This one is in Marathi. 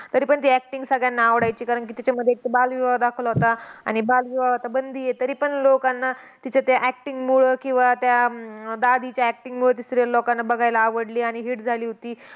तरीपण ती acting सगळ्यांना आवडायची. कारण की, तिच्यामध्ये एकतर बालविवाह दाखवला होता. आणि बालविवाह आता बंदी आहे. तरीपण लोकांना तिच्या त्या acting मुळं किंवा त्या अं दादाच्या acting मुळं ती serial लोकांना बघायला आवडली, आणि hit झाली होती.